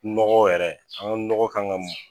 Nɔgɔ yɛrɛ an ga nɔgɔ kan ka mun